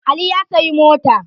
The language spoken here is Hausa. Ali ya sayi mota